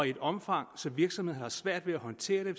i et omfang så virksomhederne har svært ved håndtere det